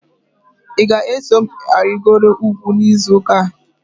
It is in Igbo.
Ị ga-eso m arịgoro ugwu n'izu ụka a?